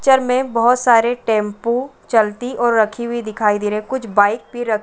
Picture में बहुत सारे टेम्पु चलती और रखी हुई दिखाई दे रही है। कुछ बाइक भी रखी --